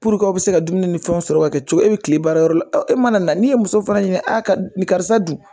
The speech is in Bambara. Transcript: k'aw bɛ se ka dumuni ni fɛnw sɔrɔ ka kɛ cogo e bɛ tile baara yɔrɔ la e mana na n'i ye muso fana ɲini a ka ni karisa dun